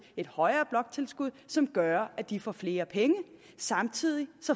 et højere bloktilskud som gør at de får flere penge og samtidig